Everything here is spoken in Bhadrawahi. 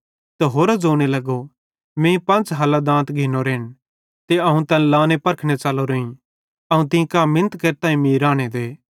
त होरो ज़ोने लगो मीं पंच़ हल्लां दांत घिन्नोरेन ते अवं तैन लाने परखने च़लोरोईं अवं तीं कां मिनत केरतां कि मीं राने दे